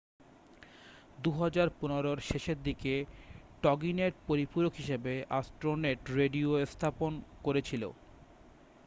2015-র শেষের দিকে টগিনেট পরিপূরক হিসাবে অ্যাস্ট্রোনেট রেডিও স্থাপন করেছিল